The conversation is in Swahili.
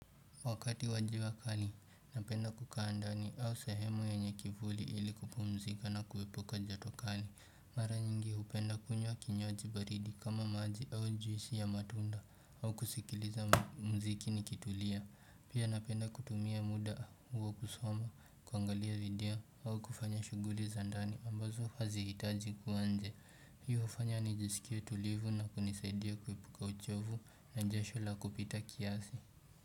Wakati wa jua kali, napenda kukaa ndani au sehemu yenye kivuli ili kupumzika na kuepuka joto kali. Mara nyingi hupenda kunywa kinywaji baridi kama maji au juisi ya matunda au kusikiliza muziki nikitulia Pia napenda kutumia muda huo kusoma, kuangalia video au kufanya shughuli za ndani ambazo hazihitaji kuwa nje. Hiyo hufanya nijisikie tulivu na kunisaidia kuepuka uchovu na jasho la kupita kiasi.